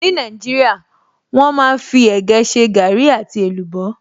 Ní Nàìjíríà, wọ́n máa fí ẹ̀gẹ́ ṣe gaàrí àti èlùbọ́